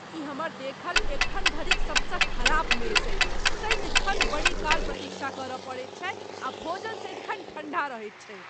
ई हमर देखल एखन धरिक सबसँ खराब मेस अछि। सदिखन बड़ी काल प्रतीक्षा करय पड़ैत छै आ भोजन सदिखन ठण्डा रहैत छैक।